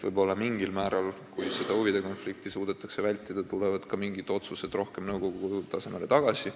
Kui huvide konflikti suudetakse vältida, tulevad võib-olla ka mingid otsused rohkem nõukogu tasemele tagasi.